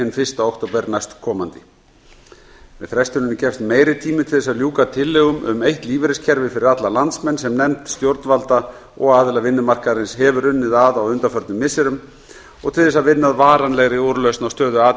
hinn fyrsta október næstkomandi með frestuninni gefst meiri tími til að ljúka tillögum um eitt lífeyriskerfi fyrir alla landsmenn sem nefnd stjórnvalda og aðila vinnumarkaðarins hefur unnið að á undanförnum missirum og til að vinna að varanlegri úrlausn á stöðu a